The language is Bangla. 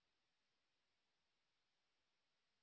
এই বিষয় বিস্তারিত তথ্য এই লিঙ্ক এ প্রাপ্তিসাধ্য